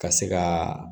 Ka se ka